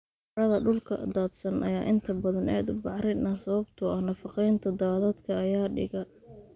Carrada dhulka daadsan ayaa inta badan aad u bacrin ah sababtoo ah nafaqeynta daadadka ayaa dhiga.